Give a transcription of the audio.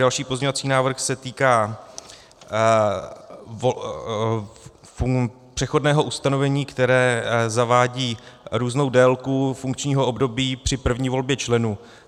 Další pozměňovací návrh se týká přechodného ustanovení, které zavádí různou délku funkčního období při první volbě členů.